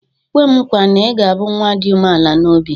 "kwe m nkwa na ị ga-abụ nwa dị umeala n'obi"